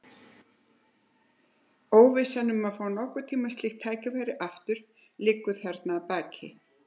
Óvissan um að fá nokkurn tíma slíkt tækifæri aftur liggur þarna að baki.